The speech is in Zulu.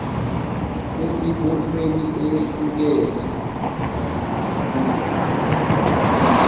emibonweni eyehlukene nasezindabeni